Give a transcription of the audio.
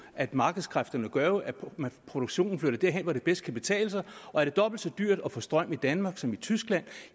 at markedskræfterne gør at produktionen flytter derhen hvor det bedst kan betale sig og er det dobbelt så dyrt at få strøm i danmark som i tyskland